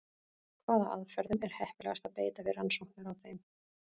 Hvaða aðferðum er heppilegast að beita við rannsóknir á þeim?